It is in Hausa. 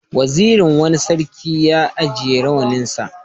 Wazirin wani sarki ya ajiye rawaninsa.